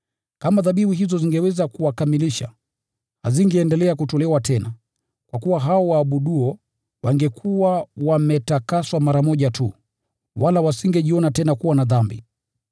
Kama dhabihu hizo zingeweza kuwakamilisha, hazingeendelea kutolewa tena. Kwa kuwa hao waabuduo wangekuwa wametakaswa mara moja tu, wala wasingejiona tena kuwa na dhambi.